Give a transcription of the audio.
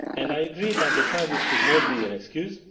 I agree that the crisis should not be an excuse.